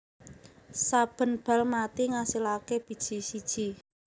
Saben bal mati ngasilaké biji siji